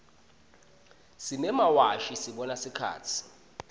simemawashi sibona sikhatsi